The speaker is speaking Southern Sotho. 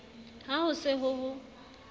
ha ho se ho ho